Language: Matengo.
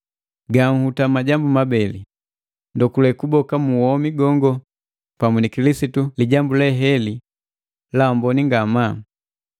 Ganhuta majambu mabeli, ndokule kuboka muwomi gongo pamu ni Kilisitu, lijambu le heli la amboni ngamaa.